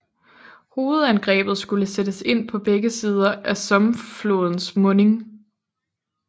Hovedangrebet skulle sættes ind på begge sider af Somme flodens munding